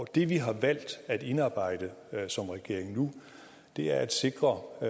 det vi har valgt at indarbejde som regering nu er at sikre at